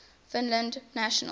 finland's national poet